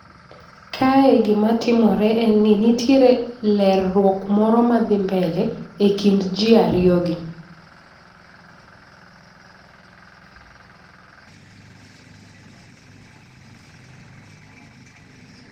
Kae gimatimore en ni nitiere lerruok moro madhi mbele e kind ji ariyogi.